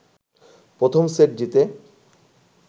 প্রথম সেট জিতে